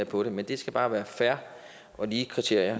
for det men det skal bare være fair og lige kriterier